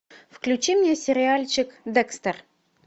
включи мне сериальчик декстер